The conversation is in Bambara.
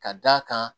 Ka d'a kan